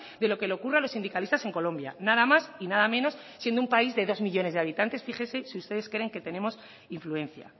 de lo que le ocurra a los sindicalistas en colombia nada más y nada menos siendo un país de dos millónes de habitantes fíjese si ustedes creen que tenemos influencia